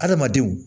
Adamadenw